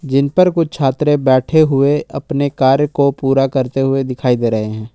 इन पर कुछ छात्र बैठे हुए अपने कार्य को पूरा करते हुए दिखाई दे रहे हैं।